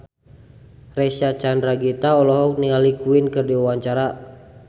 Reysa Chandragitta olohok ningali Queen keur diwawancara